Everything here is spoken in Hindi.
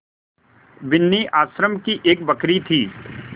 बिन्नी आश्रम की एक बकरी थी